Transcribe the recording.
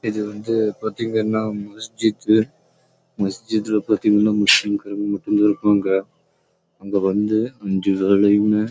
இது வந்து பாத்தீங்கன்னா பதிங்க ந